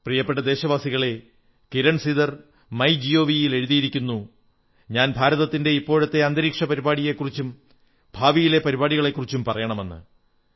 പ്രിയപ്പെട്ട ദേശവാസികളേ Kiran Sidhar my G O V ൽ എഴുതിയിരിക്കുന്നു ഞാൻ ഭാരതത്തിന്റെ ഇപ്പോഴത്തെ ബഹിരാകാശ പരിപാടികളെക്കുറിച്ചും ഭാവിയിലെ പരിപാടികളെക്കുറിച്ചും പറയണമെന്ന്